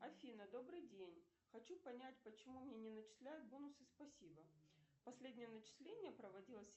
афина добрый день хочу понять почему мне не начисляют бонусы спасибо последнее начисление проводилось